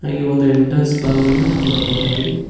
ಹಾಗೆ ಒಂದು ಎಂಟ್ರೆನ್ಸ್ ಭಾಗವನ್ನು ನೋಡಬಹುದಾಗಿದೆ.